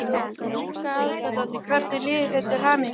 Helga Arnardóttir: Hvernig líður þér, til hamingju?